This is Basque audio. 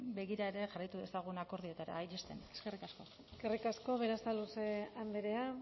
begira ere jarraitu dezagun akordioetara iristen eskerrik asko eskerrik asko berasaluze andrea